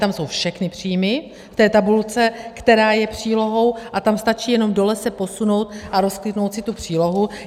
Tam jsou všechny příjmy v té tabulce, která je přílohou, a tam stačí jenom dole se posunout a rozkliknout si tu přílohu.